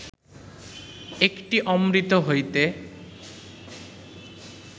একটি অমৃত হইতে